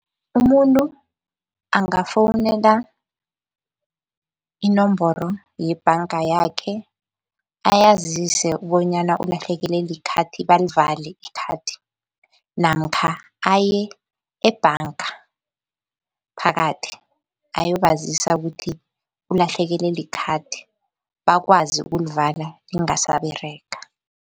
Umuntu angafowunela inomboro yebhanga yakhe ayazise bonyana ulahlekelwe likhathi balivale ikhathi namkha aye ebhanga ngaphakathi ayobazisa ukuthi ulahlekelwe likhathi, bakwazi ukulivala lingasaberega.